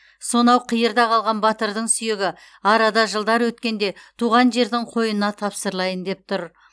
сонау қиырда қалған батырдың сүйегі арада жылдар өткенде туған жердің қойнына тапсырылайын деп тұр